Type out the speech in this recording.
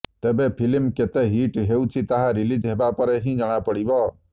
ତେବେ ଫିଲ୍ମ କେତେ ହିଟ୍ ହେଉଛି ତାହା ରିଲିଜ୍ ହେବାପରେ ହିଁ ଜଣାପଡ଼ିବ